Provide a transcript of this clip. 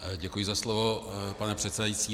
Děkuji za slovo, pane předsedající.